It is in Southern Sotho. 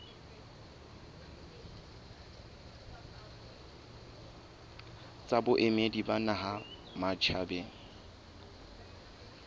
tsa boemedi ba naha matjhabeng